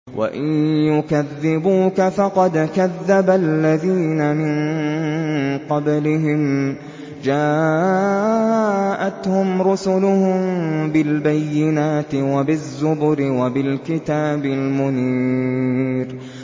وَإِن يُكَذِّبُوكَ فَقَدْ كَذَّبَ الَّذِينَ مِن قَبْلِهِمْ جَاءَتْهُمْ رُسُلُهُم بِالْبَيِّنَاتِ وَبِالزُّبُرِ وَبِالْكِتَابِ الْمُنِيرِ